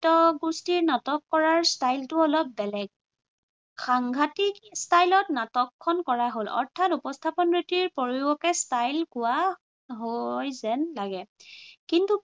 নাট্য়গুষ্ঠিৰ নাটক কৰাৰ style টো অলপ বেলেগ। সাংঘাটিক style ত নাটকখন কৰা হল। অৰ্থাৎ উপস্থাপন ৰীতিৰ প্ৰয়োগকে style কোৱা হয় যেন লাগে। কিন্তু